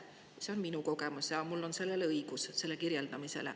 Selline oli minu kogemus ja mul on õigus seda kirjeldada.